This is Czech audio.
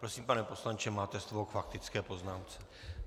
Prosím, pane poslanče, máte slovo k faktické poznámce.